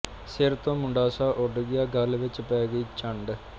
ਸਿਰ ਤੋਂ ਮੁੰਡਾਸਾ ਉੱਡ ਗਿਆ ਗਲ ਵਿੱਚ ਪੈ ਗਈ ਝੰਡ